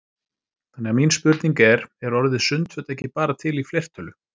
Þannig að mín spurning er: Er orðið sundföt ekki bara til í fleirtölu?